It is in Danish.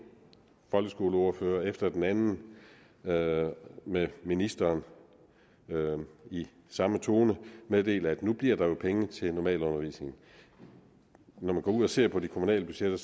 folkeskoleordfører efter den anden og med ministeren i samme tone meddele at nu blev der jo penge til normalundervisning når man går ud og ser på de kommunale budgetter